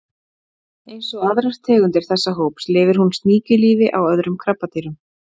Eins og aðrar tegundir þessa hóps lifir hún sníkjulífi á öðrum krabbadýrum.